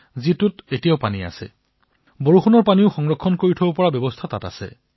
আজিও তাত পানী আছে আৰু বৰষুণৰ পানী জমা কৰাৰ ব্যৱস্থা আছে